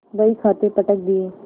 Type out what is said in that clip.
बहीखाते पटक दिये